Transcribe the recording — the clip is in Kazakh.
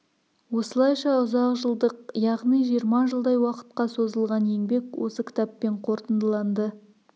осылайша ұзақ жылдық яғни жиырма жылдай уақытқа созылған еңбек осы кітаппен қорытындыланды